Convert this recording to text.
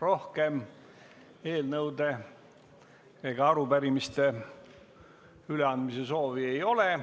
Rohkem eelnõude ja arupärimiste üleandmise soovi ei ole.